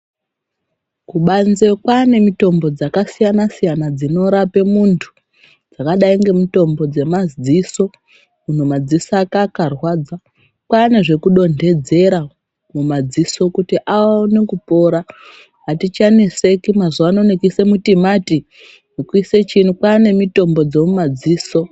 Kubanze kwanemitombo dzakasiyana siyana, dzinorape muntu. Dzakadayi ngemitombo dzemadziso, munhu madziso ake akarwadza, kwanezvekudondedzera mumadziso kuti awane kupora. Hatichanetseki mazuvano nekusemutimati, nekuyise chini. Kwanemitombo dzomumadziso.